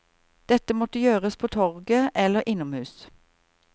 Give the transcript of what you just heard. Dette måtte gjøres på torget eller innom hus.